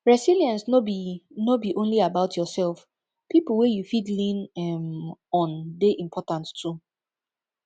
resilence no be no be only about yourself pipo wey you fit lean um on de important too